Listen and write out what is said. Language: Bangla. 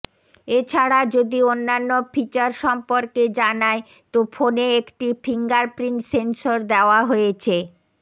এছাড়া যদি অন্যান্য ফিচর সম্পর্কে জানাই তো ফোনে একটি ফিঙ্গারপ্রিন্ট সেন্সর দেওয়া হয়েছে